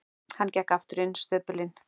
Hann gekk aftur inn í stöpulinn.